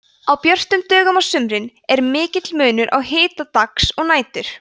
á björtum dögum á sumrin er mikill munur á hita dags og nætur